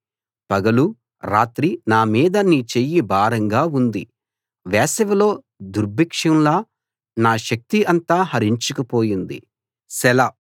పగలూ రాత్రీ నా మీద నీ చెయ్యి భారంగా ఉంది వేసవిలో దుర్భిక్షంలా నా శక్తి అంతా హరించుకు పోయింది సెలా